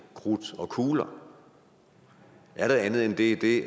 krudt og kugler er der andet i det